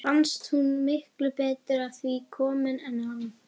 Fannst hún miklu betur að því komin en hann.